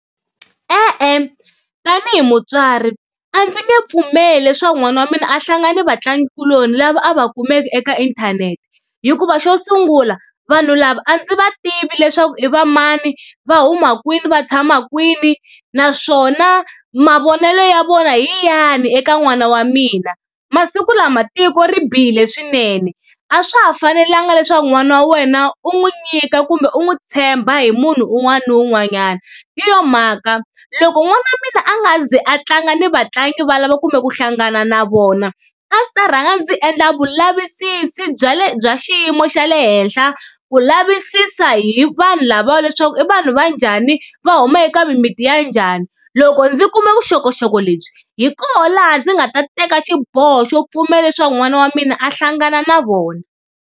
E-e tanihi mutswari a ndzi nge pfumeli leswaku n'wana wa mina a hlangana ni vatlangikuloni lava a va kumeka eka inthanete, hikuva xo sungula vanhu lava a ndzi va tivi leswaku i va mani, va huma kwini va tshama kwini naswona mavonelo ya vona hi yahi eka n'wana wa mina. Masiku lama tiko ri bihile swinene a swa ha fanelanga leswaku n'wana wa wena u n'wi nyika kumbe u n'wi tshemba hi munhu un'wana ni un'wanyana, hi yo mhaka loko n'wana wa mina a nga ze a tlanga ni vatlangi valava kumbe ku hlangana na vona a ndzi ta rhanga ndzi endla vulavisisi bya le bya xiyimo xa le henhla ku lavisisa hi vanhu lavawa leswaku i vanhu va njhani va huma eka mimiti ya njhani. Loko ndzi kume vuxokoxoko lebyi hi koho laha ndzi nga ta teka xiboho xo pfumela leswaku n'wana wa mina a hlangana na vona.